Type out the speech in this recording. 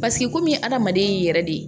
Paseke komi adamaden y'i yɛrɛ de ye